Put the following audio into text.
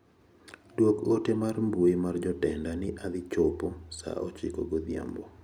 Duok ote mar mbui mar jotenda ni adhi chopo saa ochiko godhiambo.